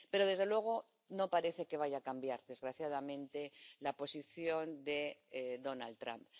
Pero desde luego, no parece que vaya a cambiar, desgraciadamente, la posición de Donald Trump.